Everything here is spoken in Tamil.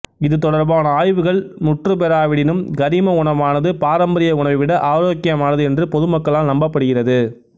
இது தொடர்பான ஆய்வுகள் முற்றுப் பெறாவிடினும் கரிம உணவானது பாராம்பரிய உணவை விட ஆரோக்கியமானது என்று பொது மக்களால் நம்பப்படுகிறது